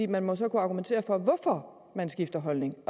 man må så kunne argumentere for hvorfor man skifter holdning